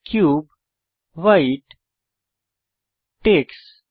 cube white text